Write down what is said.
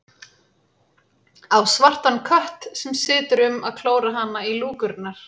Á svartan kött sem situr um að klóra hana í lúkurnar.